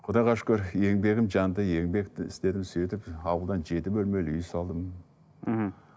құдайға шүкір еңбегім жанды еңбекті істедім сөйтіп ауылдан жеті бөлмелі үй салдым мхм